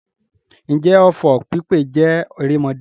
Ǹjẹ́ ọfọ̀ pípè jẹ́ erémọdé?